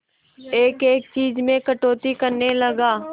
एक एक चीज में कटौती करने लगा